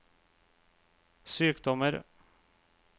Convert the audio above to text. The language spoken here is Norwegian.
sykdommer